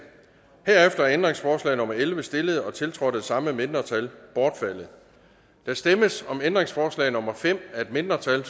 herefter er ændringsforslag nummer elleve stillet og tiltrådt af de samme mindretal bortfaldet der stemmes om ændringsforslag nummer fem af et mindretal